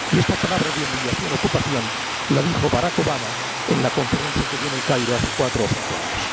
Y esta palabra, humillación ocupación, la dijo Barack Obama en la conferencia que dio en El Cairo hace cuatro o cinco años.